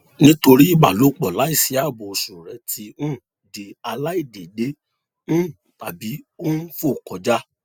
nítorí ìbálòpọ láìsí ààbò oṣù rẹ ti um di aláìdéédé um tàbí ó ń fò kọjá